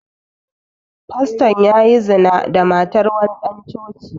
Fastan ya yi zina da matar wani ɗan coci